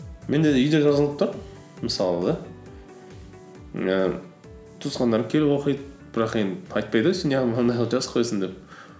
менде де үйде жазылып тұр мысалы да ііі туысқандарым келіп оқиды бірақ енді айтпайды ғой сен жазып қойғансың деп